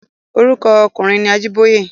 Orúkọ ọkùnrin ni Ajíbóyè.